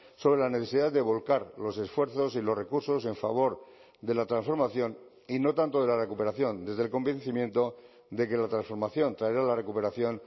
sobre la necesidad de volcar los esfuerzos y los recursos en favor de la transformación y no tanto de la recuperación desde el convencimiento de que la transformación traerá la recuperación